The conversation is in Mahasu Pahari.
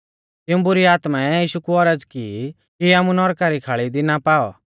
तिऊं बुरी आत्मै यीशु कु औरज़ की कि आमु नौरका री खाल़ी दी ना पाऔ